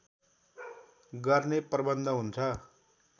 गर्ने प्रबन्ध हुन्छ